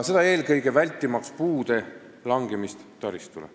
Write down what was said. Seda eelkõige selleks, et vältida puude langemist taristule.